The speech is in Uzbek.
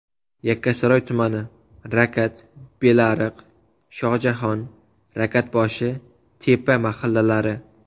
Yakkasaroy tumani: Rakat, Belariq, Shoxjahon, Rakatboshi, Tepa mahallalari.